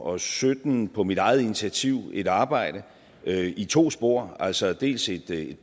og sytten på mit eget initiativ et arbejde i to spor altså dels et